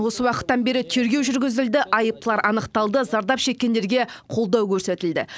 осы уақыттан бері тергеу жүргізілді айыптылар анықталды зардап шеккендерге қолдау көрсетілді